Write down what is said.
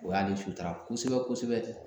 O y'ale sutura kosɛbɛ kosɛbɛ.